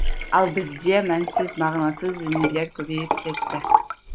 ал бізде мәнсіз мағынасыз дүниелер көбейіп кетті